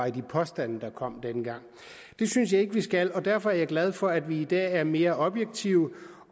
i de påstande der kom dengang det synes jeg ikke vi skal derfor er jeg glad for at vi i dag er mere objektive